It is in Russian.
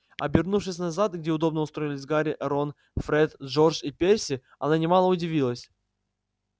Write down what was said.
обернувшись назад где удобно устроились гарри рон фред джордж и перси она немало удивилась